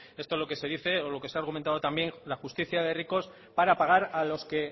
esto es lo que se dice o lo que se ha argumentado también la justicia de ricos para pagar a los que